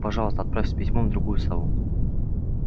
и пожалуйста отправь с письмом другую сову